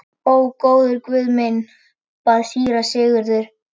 Ó góður Guð minn, bað síra Sigurður.